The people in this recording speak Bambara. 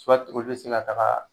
olu bɛ se ka taga